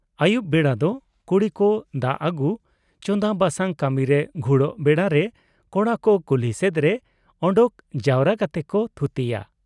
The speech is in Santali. ᱟᱹᱭᱩᱵ ᱵᱮᱲᱟ ᱫᱚ ᱠᱩᱲᱤ ᱠᱚ ᱫᱟ ᱟᱹᱜᱩ , ᱪᱟᱸᱫᱟ ᱵᱟᱰᱥᱟᱝ ᱠᱟᱢᱤ ᱨᱮ ᱜᱷᱩᱲᱚᱜ ᱵᱮᱲᱟ ᱨᱮ ᱠᱚᱲᱟ ᱠᱚ ᱠᱩᱞᱦᱤ ᱥᱮᱫ ᱨᱮ ᱚᱰᱚᱠ ᱡᱟᱣᱨᱟ ᱠᱟᱛᱮ ᱠᱚ ᱛᱷᱩᱛᱤᱭᱟ ᱾